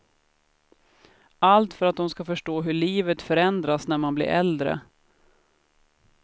Allt för att de ska förstå hur livet förändras när man blir äldre.